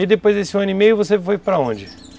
E depois desse ano e meio, você foi para onde?